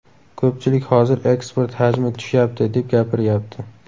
Ko‘pchilik hozir eksport hajmi tushyapti, deb gapiryapti.